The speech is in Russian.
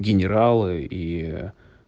генералы и